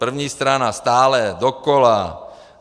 První strana stále dokola.